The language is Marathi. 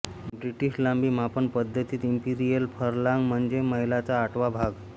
ब्रिटिश लांबी मापन पद्धतीत इंपीरियल फर्लॉंग म्हणजे मैलाचा आठवा भाग